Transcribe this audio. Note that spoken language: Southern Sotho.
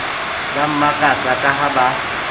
ba makatsa ka ha ba